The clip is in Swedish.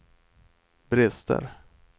brister